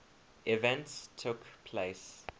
events took place